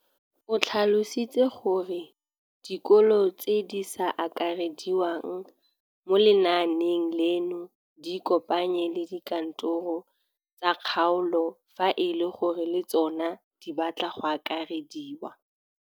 O tlhalositse gore dikolo tse di sa akarediwang mo lenaaneng leno di ikopanye le dikantoro tsa kgaolo fa e le gore le tsona di batla go akarediwa.